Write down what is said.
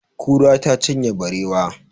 Kura ta cinye barewa.